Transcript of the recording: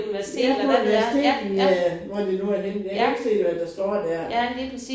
Ja på et universitet i øh hvor det nu er henne. Jeg kan ikke se hvad der står der